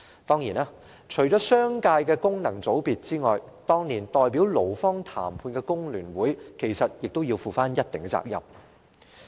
當然，除了商界的功能界別外，當年代表勞方談判的工聯會其實亦要負上一定責任。